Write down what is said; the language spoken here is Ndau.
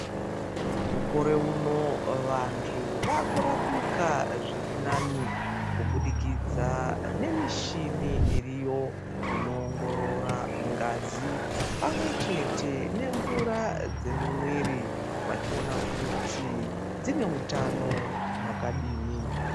Mukore uno vantu vaakurapika zvirinani kubudikidza nemishini iriyo inoongorora ngazi pamwechete nemvura dzemumwiri vachiona kuti dzine utano hwakadini.